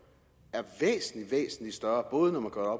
er væsentlig væsentlig større både når man gør